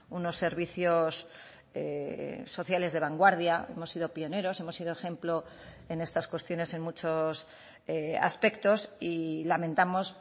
unos servicios sociales de vanguardia hemos sido pioneros hemos sido ejemplo en estas cuestiones en muchos aspectos y lamentamos